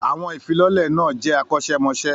Àwọn ìfilọ́lẹ̀ náà jẹ́ akọ́ṣẹ́mọṣẹ́.